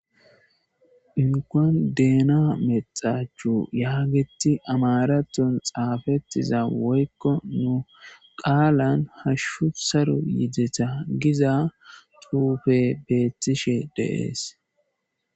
Inkuwan dehna mexachu yaageti amaraton xaafettiza woykko nu qaalan hashshu saro yideta giza xuufe beettishe de'es